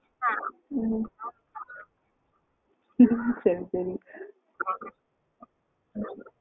ம் ஆ உம் ஆ உம் மட்டும் சொல்லுங்க ம் சரி சரி